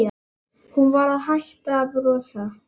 Hún var hætt að brosa.